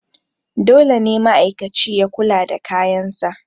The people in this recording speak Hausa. dole ne ma'aikaci ya kula da kayansa